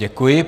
Děkuji.